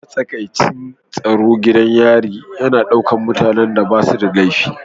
Matsakaicin tsaro gidan yarin yana ɗaukar mutanen da ba su da laifi